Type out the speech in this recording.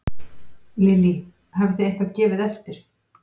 Lillý: Hafið þið eitthvað gefið eftir?